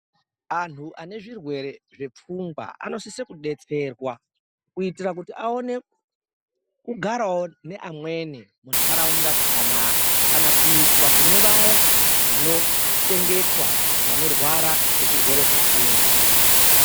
Antu ane zvirwere zvepfungwa anosise kudetserwa kuitira kuti aone kugarawo neamweni muntaraunda zvakanaka kana kuiswa kune vaya vanochengetwa vanorwara ngezvirwere zvepfungwa.